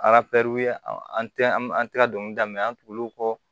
an tɛ an tɛ ka dɔnkili da an tugul'o kɔ